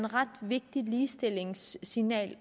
ret vigtigt ligestillingssignal